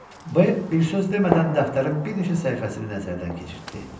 B bir söz demədən dəftərin bir neçə səhifəsini nəzərdən keçirtdi.